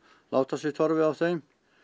láta sig torfið á þeim